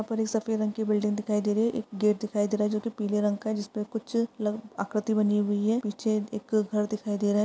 ऊपर एक सफेद रंग की बिल्डिंग दिखाई दे रही है। एक गेट दिखाई दे रहा है जो कि पीले रंग का जिसपे कुछ आकृति बनी हुई है। पीछे एक घर दिखाई दे रहा है।